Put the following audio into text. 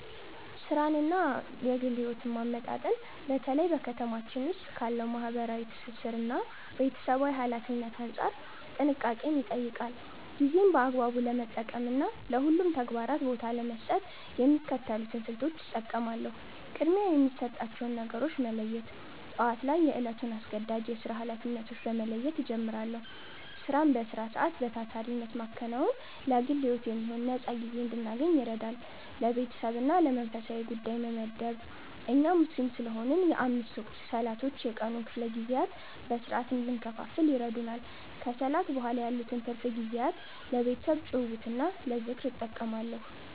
ሥራንና ግል ሕይወትን ማመጣጠን በተለይ በ ከተማችን ዉስጥ ካለው ማህበራዊ ትስስርና ቤተሰባዊ ኃላፊነት አንጻር ጥንቃቄን ይጠይቃል። ጊዜን በአግባቡ ለመጠቀምና ለሁሉም ተግባራት ቦታ ለመስጠት የሚከተሉትን ስልቶች እጠቀማለሁ፦ ቅድሚያ የሚሰጣቸውን ነገሮች መለየት፦ ጠዋት ላይ የዕለቱን አስገዳጅ የሥራ ኃላፊነቶች በመለየት እጀምራለሁ። ሥራን በሥራ ሰዓት በታታሪነት ማከናወን ለግል ሕይወት የሚሆን ነፃ ጊዜ እንድናገኝ ይረዳል። ለቤተሰብና ለመንፈሳዊ ጉዳይ ጊዜ መመደብ፦ እኛ ሙስሊም ስለሆንን የአምስት ወቅት ሰላቶች የቀኑን ክፍለ ጊዜያት በሥርዓት እንድንከፋፍል ይረዱናል። ከሰላት በኋላ ያሉትን ትርፍ ጊዜያት ለቤተሰብ ጭውውትና ለዝክር እጠቀማለሁ።